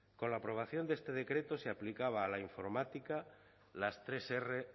con la aprobación de este decreto se aplicaba a la informática las tres erres